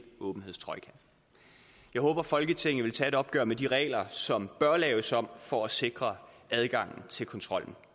åbenhedstrojka jeg håber at folketinget vil tage et opgør med de regler som bør laves om for at sikre adgangen til kontrollen